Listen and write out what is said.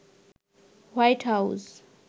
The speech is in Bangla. white house